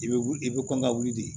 I bɛ wuli i bɛ kɔn ka wuli de